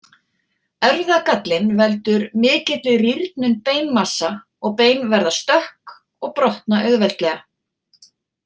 Erfðagallinn veldur mikilli rýrnun beinmassa og bein verða stökk og brotna auðveldlega.